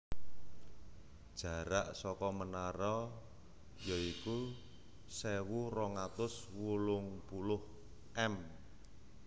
Jarak saka menara ya iku sewu rong atus wolung puluh m